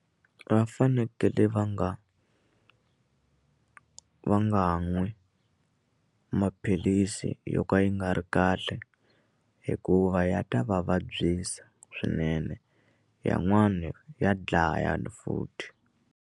Va fanekele va nga va nga nwi maphilisi yo ka yi nga ri kahle hikuva ya ta va vabyisa swinene yan'wani ya dlaya futhi.